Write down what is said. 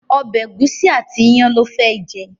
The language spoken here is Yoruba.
ọbẹ egusi àti iyán ló fé jẹ.